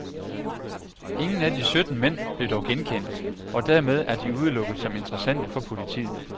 Ingen af de sytten mænd blev dog genkendt, og dermed er de udelukket som interessante for politiet.